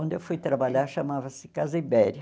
Onde eu fui trabalhar chamava-se Casa Ibéria.